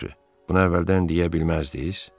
Yaxşı, bunu əvvəldən deyə bilməzdiniz?